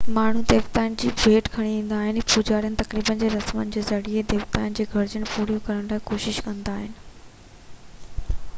ماڻهو ديوتائن جي لاءِ ڀيٽ کڻي ايندا هئا ۽ پوجاري تقريبن ۽ رسمن جي ذريعي ديوتائن جي گهرجون پوريون ڪرڻ جي ڪوشش ڪندا هئا